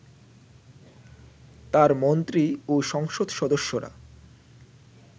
তাঁর মন্ত্রী ও সংসদ সদস্যরা